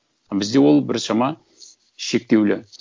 бізде ол біршама шектеулі